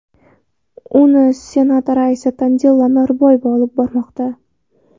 Uni Senat raisi Tanzila Norboyeva olib bormoqda.